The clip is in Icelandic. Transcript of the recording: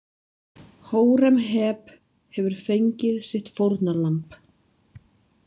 Hóremheb hefur fengið sitt fórnarlamb.